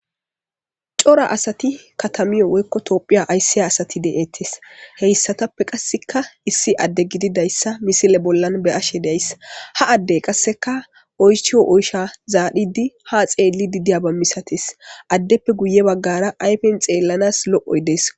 Cora asat katamiyo woykko Tophiya aysiya asat de'etes,heysatappe qasik issi Ade gididaysa misile bollan be'ashe de'ays ha Adey qaseka oychiyo zarid ha xelid diya masates, adeppe guye bagara qas xelanas lo'oy Des.